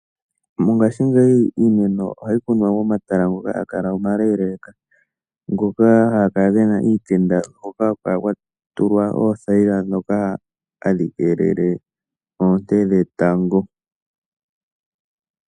Mongashingeyi iimeno ohayi kunwa momatala omaleleka. Ohaga kala gena iitenda hoka kwatulwa oothayila ndhoka hadhi keelele oonte dhetango.